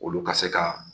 Olu ka se ka